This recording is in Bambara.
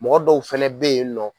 Mɔgɔ dɔw fɛnɛ bɛ yen nɔ